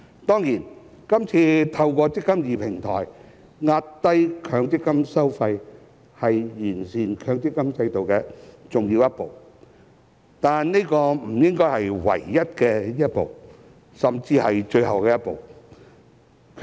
當然，這次透過"積金易"平台壓低強積金收費是完善強積金制度的重要一步，但這不應是唯一一步，甚至最後一步。